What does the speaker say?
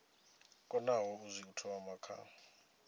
konaho u zwi thoma kha